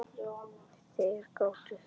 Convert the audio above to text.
Þeir gátu þetta.